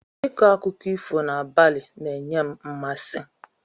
Ịkọ akụkọ ifo n'abalị ns-enye m mmasị.